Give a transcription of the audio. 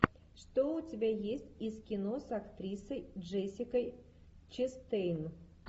что у тебя есть из кино с актрисой джессикой честейн